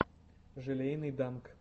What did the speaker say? желейный данк